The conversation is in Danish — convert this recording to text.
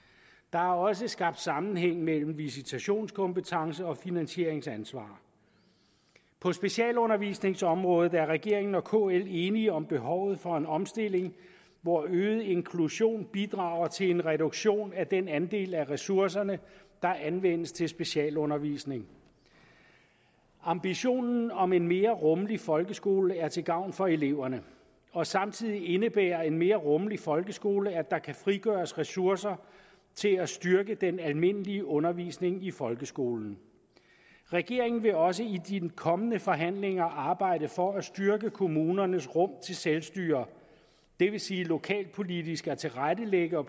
er også skabt sammenhæng mellem visitationskompetence og finansieringsansvar på specialundervisningsområdet er regeringen og kl enige om behovet for en omstilling hvor øget inklusion bidrager til en reduktion af den andel af ressourcerne der anvendes til specialundervisning ambitionen om en mere rummelig folkeskole er til gavn for eleverne og samtidig indebærer en mere rummelig folkeskole at der kan frigøres ressourcer til at styrke den almindelige undervisning i folkeskolen regeringen vil også i de kommende forhandlinger arbejde for at styrke kommunernes rum til selvstyre det vil sige til lokalpolitisk at tilrettelægge og